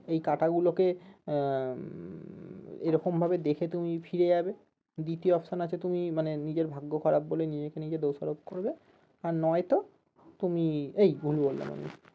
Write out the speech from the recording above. এই কাঁটাগুলোকে আহ উম এরকম ভাবে দেখে তুমি ফিরে যাবে দ্বিতীয় option আছে মানে তুমি নিজের ভাগ্য খারাপ বলে নিজেকে নিজে দোষারোপ করবে আর নয়তো তুমি এই ভুল বললাম আমি